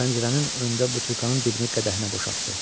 Pəncərənin önündə butulkanın dibini qədəhinə boşaltdı.